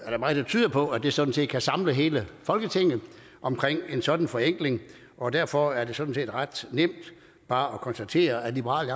er der meget der tyder på at det sådan set kan samle hele folketinget om en sådan forenkling og derfor er det sådan set ret nemt bare at konstatere at liberal